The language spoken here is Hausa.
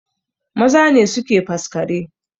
Maza ne suke faskare